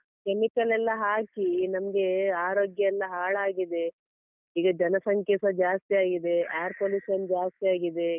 Chemical ಎಲ್ಲ ಹಾಕಿ ನಮ್ಗೆ ಆರೋಗ್ಯ ಎಲ್ಲ ಹಾಳಾಗಿದೆ, ಈಗ ಜನ ಸಂಖ್ಯೆಸ ಜಾಸ್ತಿ ಆಗಿದೆ, air pollution ಜಾಸ್ತಿ ಆಗಿದೆ.